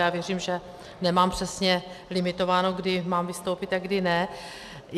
Já věřím, že nemám přesně limitováno, kdy mám vystoupit a kdy ne.